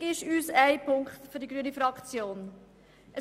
Wichtig ist für die grüne Fraktion ein Punkt: